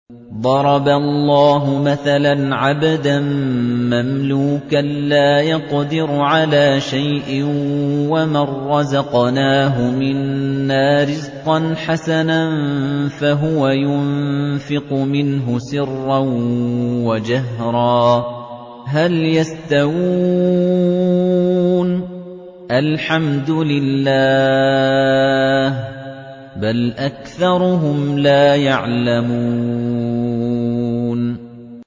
۞ ضَرَبَ اللَّهُ مَثَلًا عَبْدًا مَّمْلُوكًا لَّا يَقْدِرُ عَلَىٰ شَيْءٍ وَمَن رَّزَقْنَاهُ مِنَّا رِزْقًا حَسَنًا فَهُوَ يُنفِقُ مِنْهُ سِرًّا وَجَهْرًا ۖ هَلْ يَسْتَوُونَ ۚ الْحَمْدُ لِلَّهِ ۚ بَلْ أَكْثَرُهُمْ لَا يَعْلَمُونَ